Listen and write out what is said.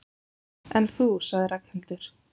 En þú sagði Ragnhildur.